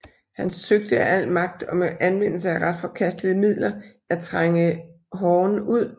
Han søgte af al magt og med anvendelse af ret forkastelige midler at trænge Horn ud